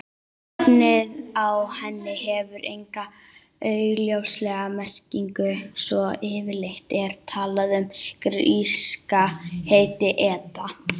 Nafnið á henni hefur enga augljósa merkingu svo yfirleitt er talað um gríska heitið eta.